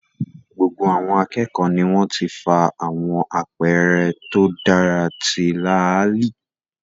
Gbogbo àwọn akẹ́kọ̀ọ́ ni wọ́n ti fa àwọn àpẹẹrẹ tó dára ti láàlì